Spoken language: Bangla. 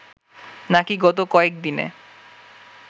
নাকি গত কয়েক দিনে